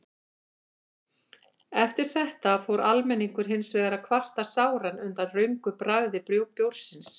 Eftir þetta fór almenningur hins vegar að kvarta sáran undan röngu bragði bjórsins.